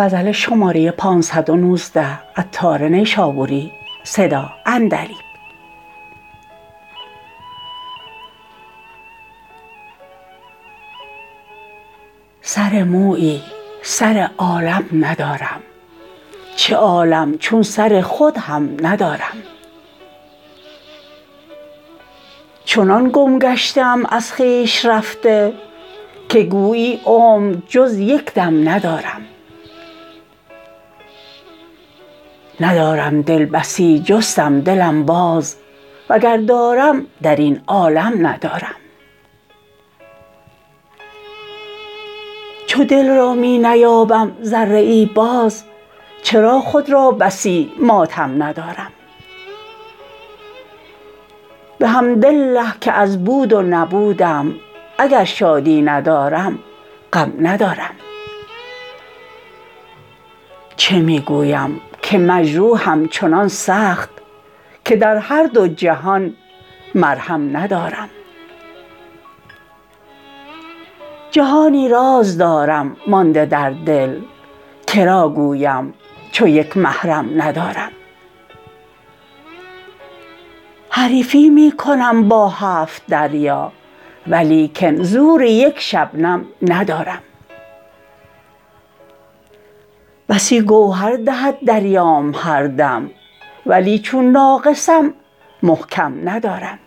سر مویی سر عالم ندارم چه عالم چون سر خود هم ندارم چنان گم گشته ام از خویش رفته که گویی عمر جز یک دم ندارم ندارم دل بسی جستم دلم باز وگر دارم درین عالم ندارم چو دل را می نیابم ذره ای باز چرا خود را بسی ماتم ندارم بحمدالله که از بود و نبودم اگر شادی ندارم غم ندارم چه می گویم که مجروحم چنان سخت که در هر دو جهان مرهم ندارم جهانی راز دارم مانده در دل که را گویم چو یک محرم ندارم حریفی می کنم با هفت دریا ولیکن زور یک شبنم ندارم بسی گوهر دهد دریام هر دم ولی چون ناقصم محکم ندارم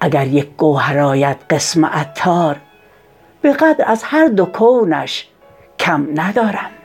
اگر یک گوهر آید قسم عطار به قدر از هر دو کونش کم ندارم